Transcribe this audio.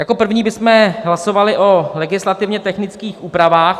Jako první bychom hlasovali o legislativně technických úpravách.